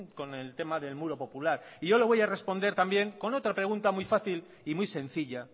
con el tema del muro popular y yo le voy a responder también con otra pregunta muy fácil y muy sencilla